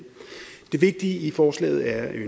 det vigtige i forslaget er